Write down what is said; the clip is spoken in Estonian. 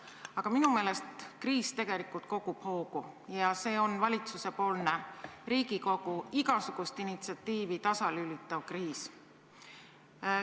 Aga minu meelest kriis tegelikult kogub hoogu ja see on valitsusepoolne Riigikogu igasugust initsiatiivi tasalülitav kriis.